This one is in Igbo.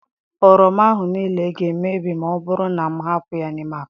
Oroma ahụ niile ga-emebi ma ọ bụrụ na m ahapụ ya n'ime akpa.